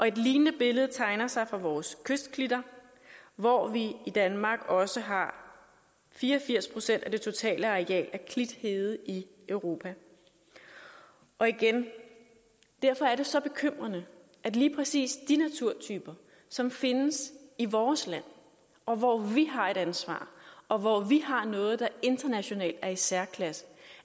et lignende billede tegner sig for vores kystklitter hvor vi i danmark også har fire og firs procent af det totale areal af klithede i europa og igen derfor er det så bekymrende at lige præcis de naturtyper som findes i vores land og hvor vi har et ansvar og hvor vi har noget der internationalt er i særklasse